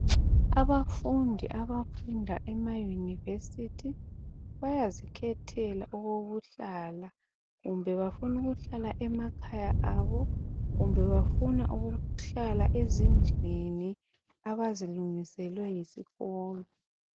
Abafundi abafunda emaYunivesithi bayazikhethela okokuhlala kumbe bafuna ukuhlala emakhaya abo kumbe bafuna ukuhlala ezindlini abazilungiselwe yisikolo.